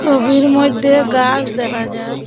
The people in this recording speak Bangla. ছবির মইধ্যে গাছ দেখা যায়।